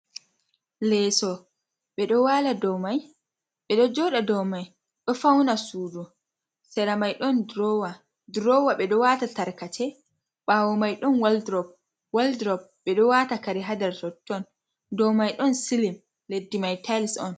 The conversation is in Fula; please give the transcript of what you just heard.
Leeso ɓedo waala dou mai ɓe ɗo jooda dou mai. Ɗo fauna sudu sera mai ɗon durowa ɓeɗo wata tarkace ɓawo mai ɗon woldrop, woldrop ɓe ɗo wata kare ha nder totton, dou mai ɗon silim leddi mai tais on.